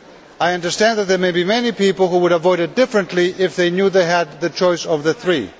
I understand that there may be many people who would have voted differently if they had known they had the choice of the three.